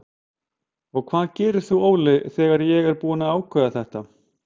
Og hvað gerir þú Óli þegar ég er búinn að ákveða þetta?